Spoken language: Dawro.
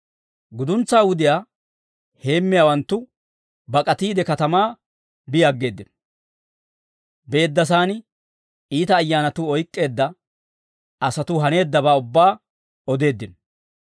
Guduntsaa wudiyaa heemmiyaawanttu bak'atiide katamaa bi aggeeddino; beeddasaan iita ayyaanatuu oyk'k'eedda asatuu haneeddabaa ubbaa odeeddino.